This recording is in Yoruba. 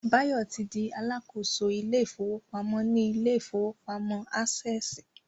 Báyọ̀ ti di Alákóso ilé ìfowópamọ́ ní ilé ìfowópamọ́ Ásẹ̀sì